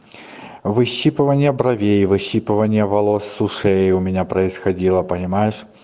выщипывание бровей выщипывание волос с ушей у меня происходило понимаешь